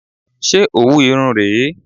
Ṣé òwu Irun rè é?